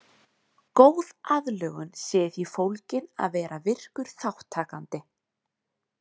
Góð aðlögun sé í því fólgin að vera virkur þátttakandi.